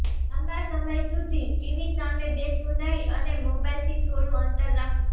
લાંબા સમય સુધી ટીવી સામે બેસવું નહીં અને મોબાઇલથી થોડું અંતર રાખવું